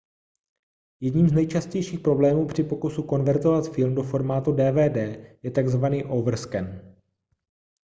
jedním z nejčastějších problémů při pokusu konvertovat film do formátu dvd je takzvaný overscan